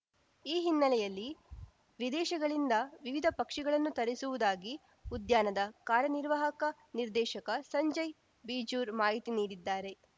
ಈ ಹಿನ್ನೆಲೆಯಲ್ಲಿ ವಿದೇಶಗಳಿಂದ ವಿವಿಧ ಪಕ್ಷಿಗಳನ್ನು ತರಿಸಿರುವುದಾಗಿ ಉದ್ಯಾನದ ಕಾರ್ಯನಿರ್ವಾಹಕ ನಿರ್ದೇಶಕ ಸಂಜಯ್‌ ಬಿಜೂರು ಮಾಹಿತಿ ನೀಡಿದ್ದಾರೆ